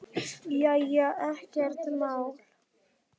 Já já, ekkert mál.